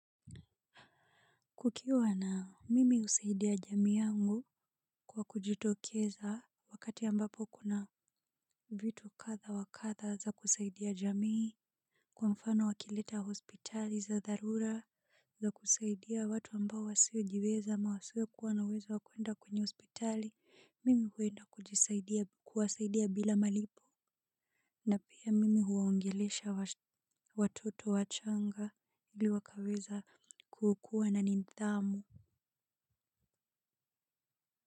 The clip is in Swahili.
Kukiwa na, mimi husaidia jamii yangu kwa kujitokeza wakati ambapo kuna vitu kadha wakadha za kusaidia jamii. Kwa mfano wakileta hospitali za dharura za kusaidia watu ambao wasiojiweza ama wasio kuwa na uwezo wakuenda kwenye hospitali mimi huenda kujisaidia kuwasaidia bila malipo. Na pia mimi huwaongelesha watoto wachanga ili wakaweza kukua na nindhamu.